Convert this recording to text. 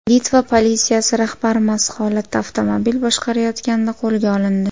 Litva politsiyasi rahbari mast holatda avtomobil boshqarayotganida qo‘lga olindi.